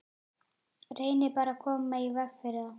Reynið bara að koma í veg fyrir það.